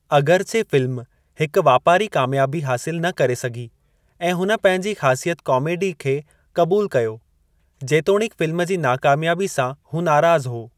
अगिरचे film हिकु वापारी कामयाबी हासिलु न करे सघी ऐं हुन पंहिंजी ख़ासियत काॅमेडी खे क़बूल कयो, जेतोणीकि फ़िल्म जी नाकामयाबी सां हू नाराज़ु हो।